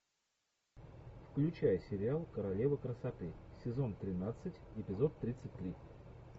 включай сериал королева красоты сезон тринадцать эпизод тридцать три